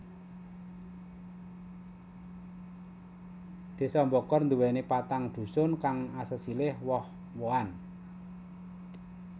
Désa Bokor duwéni patang dusun kang asesilih woh wohan